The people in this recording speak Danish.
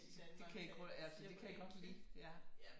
De kan ikke ja det kan jeg godt lide ja